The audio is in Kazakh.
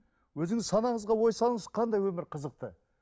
өзіңіз санаңызға ой салыңыз қандай өмір қызықты